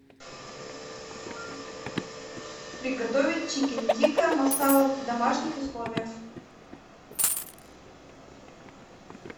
приготовить чикен тикка масала в домашних условиях